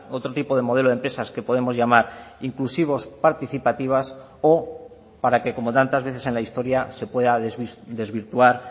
otro tipo de modelo de empresas que podemos llamar inclusivos participativas o para que como tantas veces en la historia se pueda desvirtuar